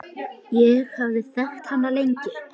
Ég hafði þekkt hana lengi.